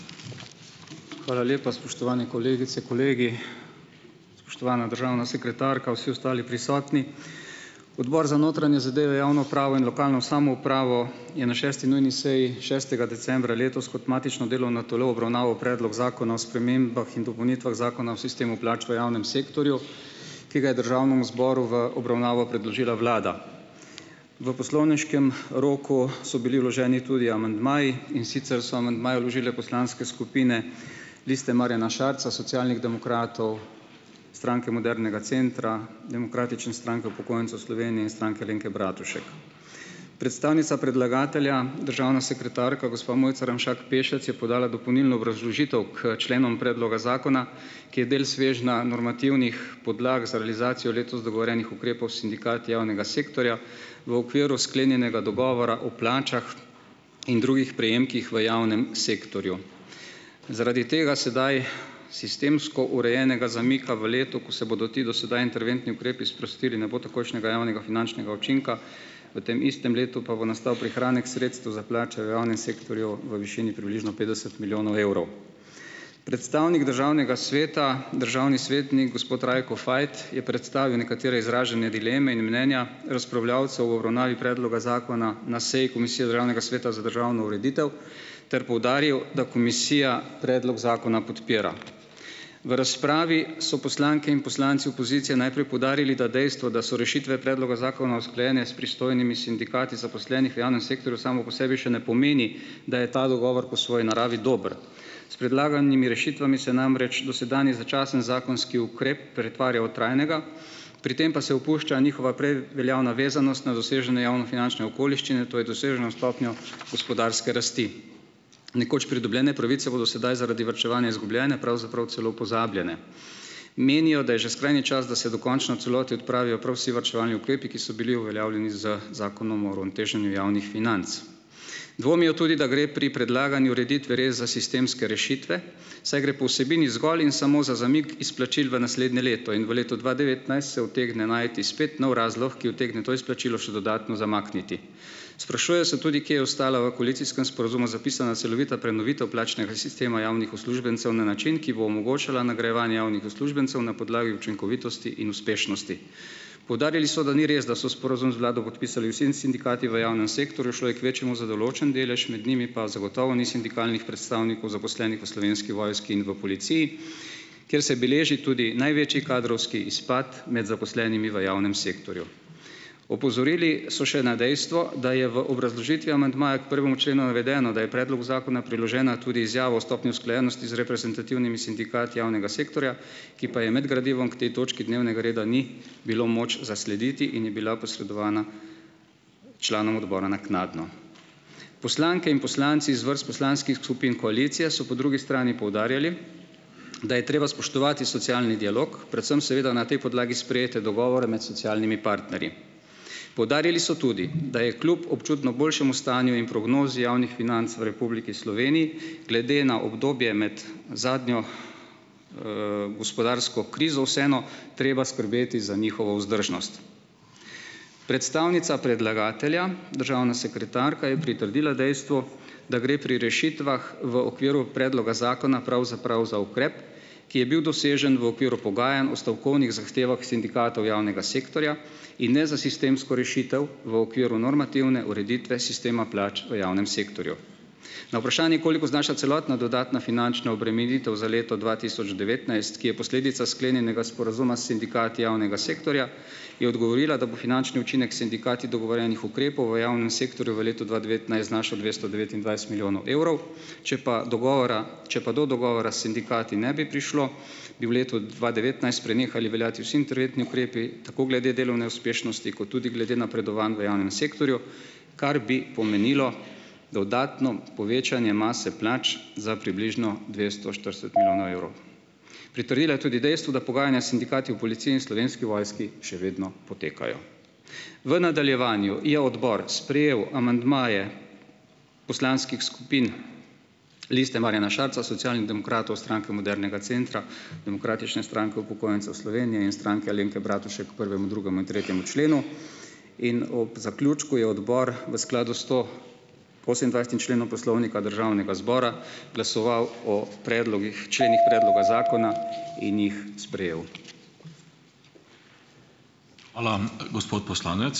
Hvala lepa, spoštovane kolegice, kolegi. Spoštovana državna sekretarka, vsi ostali prisotni! Odbor za notranje zadeve, javno upravo in lokalno samoupravo je na šesti nujni seji šestega decembra letos kot matično delovno telo obravnaval predlog zakona o spremembah in dopolnitvah zakona o sistemu plač v javnem sektorju, ki ga je državnemu zboru v obravnavo predložila vlada. V poslovniškem roku so bili vloženi tudi amandmaji, in sicer so amandmaje vložile poslanske skupine Liste Marjana Šarca, Socialnih demokratov, Stranke modernega centra, Demokratične stranke upokojencev Slovenije in Stranke Alenke Bratušek. Predstavnica predlagatelja, državna sekretarka gospa Mojca Ramšak Pešec, je podala dopolnilno obrazložitev k členom predloga zakona, ki je del svežnja normativnih podlag za realizacijo letos dogovorjenih ukrepov s sindikati javnega sektorja v okviru sklenjenega dogovora o plačah in drugih prejemkih v javnem sektorju. Zaradi tega, sedaj sistemsko urejenega zamika v letu, ko se bodo ti do sedaj interventni ukrepi sprostili, ne bo takojšnjega javnega finančnega učinka, v tem istem letu pa bo nastal prihranek sredstev za plače v javnem sektorju v višini približno petdeset milijonov evrov. Predstavnik državnega sveta, državni svetnik gospod Rajko Fajt, je predstavil nekatere izražene dileme in mnenja razpravljavcev v obravnavi predloga zakona na seji Komisije Državnega sveta za državno ureditev ter poudaril, da komisija predlog zakona podpira. V razpravi so poslanke in poslanci opozicije najprej poudarili, da dejstvo, da so rešitve predloga zakona usklajene s pristojnimi sindikati zaposlenih v javnem sektorju samo po sebi še ne pomeni, da je ta dogovor po svoji naravi dober. S predlaganimi rešitvami se namreč dosedanji začasen zakonski ukrep pretvarja v trajnega, pri tem pa se opušča njihova prej veljavna vezanost na dosežene javnofinančne okoliščine, to je doseženo stopnjo gospodarske rasti. Nekoč pridobljene pravice bodo sedaj zaradi varčevanja izgubljene, pravzaprav celo pozabljene. Menijo, da je že skrajni čas, da se dokončno v celoti odpravijo prav vsi varčevalni ukrepi, ki so bili uveljavljeni z zakonom o uravnoteženju javnih financ. Dvomijo tudi, da gre pri predlagani ureditvi res za sistemske rešitve, saj gre po vsebini zgolj in samo za zamik izplačil v naslednje leto in v letu dva devetnajst se utegne najti spet nov razlog, ki utegne to izplačilo še dodatno zamakniti. Sprašujejo se tudi, kje je ostala v koalicijskem sporazumu zapisana celovita prenovitev plačnega sistema javnih uslužbencev na način, ki bo omogočala nagrajevanje javnih uslužbencev na podlagi učinkovitosti in uspešnosti. Poudarjali so, da ni res, da so sporazum z vlado podpisali vsi sindikati v javnem sektorju, šlo je k večjemu za določen delež, med njimi pa zagotovo ni sindikalnih predstavnikov zaposlenih v Slovenski vojski in v policiji, kjer se beleži tudi največji kadrovski izpad med zaposlenimi v javnem sektorju. Opozorili so še na dejstvo, da je v obrazložitvi amandmaja k prvemu členu navedeno, da je predlogu zakona priložena tudi izjava o stopnji usklajenosti z reprezentativnimi sindikati javnega sektorja, ki pa je med gradivom k tej točki dnevnega reda ni bilo moč zaslediti in je bila posredovana članom odbora naknadno. Poslanke in poslanci iz vrst poslanskih skupin koalicije so po drugi strani poudarjali, da je treba spoštovati socialni dialog, predvsem seveda na tej podlagi sprejete dogovore med socialnimi partnerji. Poudarili so tudi, da je kljub občutno boljšemu stanju in prognozi javnih financ v Republiki Sloveniji glede na obdobje med zadnjo, gospodarsko krizo vseeno treba skrbeti za njihovo vzdržnost. Predstavnica predlagatelja državna sekretarka je pritrdila dejstvu, da gre pri rešitvah v okviru predloga zakona pravzaprav za ukrep, ki je bil dosežen v okviru pogajanj o stavkovnih zahtevah sindikatov javnega sektorja, in na za sistemsko rešitev v okviru normativne ureditve sistema plač v javnem sektorju. Na vprašanje, koliko znaša celotna dodatna finančna obremenitev za leto dva tisoč devetnajst, ki je posledica sklenjenega sporazuma s sindikati javnega sektorja, je odgovorila, da bo finančni učinek s sindikati dogovorjenih ukrepov v v javnem sektorju v letu dva devetnajst znašal dvesto devetindvajset milijonov evrov, če pa dogovora, če pa do dogovora s sindikati ne bi prišlo, bi v letu dva devetnajst prenehali veljati vsi interventni ukrepi tako glede delovne uspešnosti kot tudi glede napredovanj v javnem sektorju, kar bi pomenilo dodatno povečanje mase plač za približno dvesto štirideset milijonov evrov. Pritrdila je tudi dejstvu, da pogajanja s sindikati v policiji in Slovenski vojski še vedno potekajo. V nadaljevanju je odbor sprejel amandmaje poslanskih skupin Liste Marjana Šarca, Socialnih demokratov, Stranke modernega centra, Demokratične stranke upokojencev Slovenije in Stranke Alenke Bratušek k prvemu in drugemu in tretjemu členu. In ob zaključku je odbor v skladu s sto- osemindvajsetim členom Poslovnika Državnega zbora glasoval o predlogih členih predloga zakona in jih sprejel.